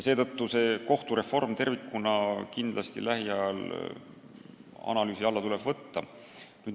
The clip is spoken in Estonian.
Seetõttu tuleb kohtureform tervikuna kindlasti lähiajal analüüsi alla võtta.